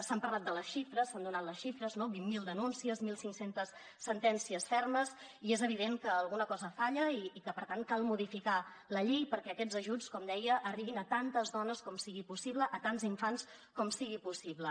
s’han parlat de les xifres s’han donat les xifres no vint mil denúncies mil cinc cents sentències fermes i és evident que alguna cosa falla i que per tant cal modificar la llei perquè aquests ajuts com deia arribin a tantes dones com sigui possible a tants infants com sigui possible